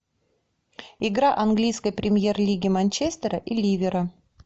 игра английской премьер лиги манчестера и ливера